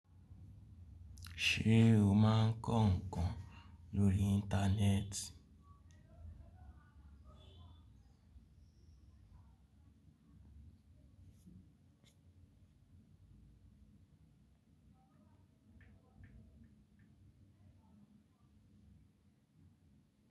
Ṣé o máa ń kọ́ nǹkan lórí Íńtánẹ́ẹ̀tì?